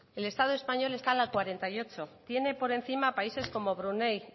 el estado español está en la cuarenta y ocho tiene por encima países como brunéi